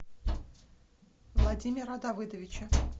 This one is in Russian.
владимира давыдовича